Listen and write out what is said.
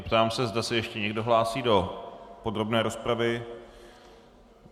Ptám se, zda se ještě někdo hlásí do podrobné rozpravy.